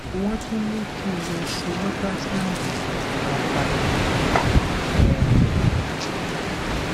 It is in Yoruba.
wọn tún ní kí n lọ ṣe ultrasound gbogbo abala ikùn um